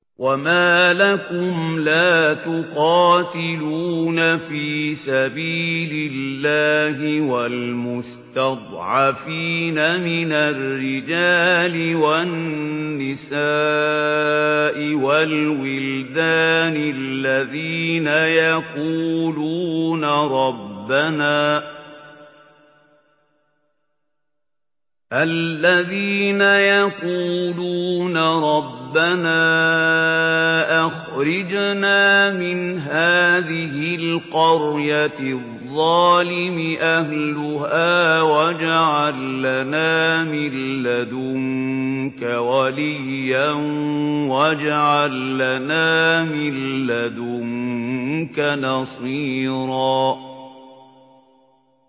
وَمَا لَكُمْ لَا تُقَاتِلُونَ فِي سَبِيلِ اللَّهِ وَالْمُسْتَضْعَفِينَ مِنَ الرِّجَالِ وَالنِّسَاءِ وَالْوِلْدَانِ الَّذِينَ يَقُولُونَ رَبَّنَا أَخْرِجْنَا مِنْ هَٰذِهِ الْقَرْيَةِ الظَّالِمِ أَهْلُهَا وَاجْعَل لَّنَا مِن لَّدُنكَ وَلِيًّا وَاجْعَل لَّنَا مِن لَّدُنكَ نَصِيرًا